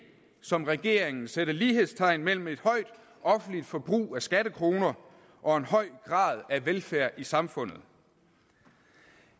som regeringen sætte lighedstegn mellem et højt offentligt forbrug af skattekroner og en høj grad af velfærd i samfundet